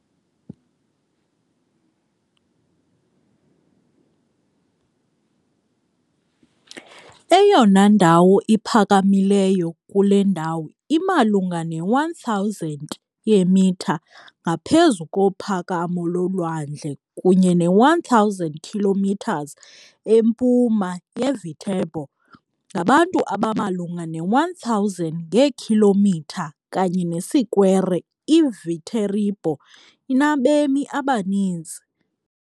Eyona ndawo iphakamileyo kule ndawo imalunga ne-1000m ngaphezu kophakamo lolwandle kunye ne-1000km empuma yeViterbo. Ngabantu abamalunga ne-1000 ngeekhilomitha kanye nesikwere. IViterbo inabemi abaninzi.